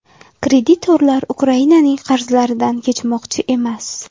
Kreditorlar Ukrainaning qarzlaridan kechmoqchi emas.